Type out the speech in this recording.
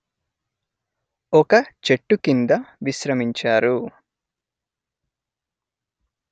ఒక చెట్టు కింద విశ్రమించారు